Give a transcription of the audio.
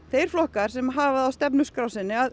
þeir flokkar sem hafa það á stefnuskrá sinni að